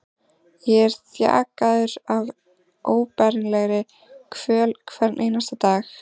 Ég er þjakaður af óbærilegri kvöl hvern einasta dag.